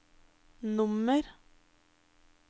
nummer